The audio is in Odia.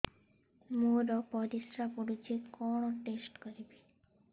ମୋର ପରିସ୍ରା ପୋଡୁଛି କଣ ଟେଷ୍ଟ କରିବି